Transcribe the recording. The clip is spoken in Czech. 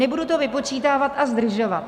Nebudu to vypočítávat a zdržovat.